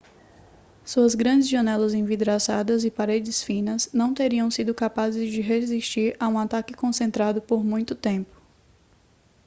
suas grandes janelas envidraçadas e paredes finas não teriam sido capazes de resistir a um ataque concentrado por muito tempo